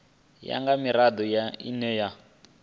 ya nga mirado ine ya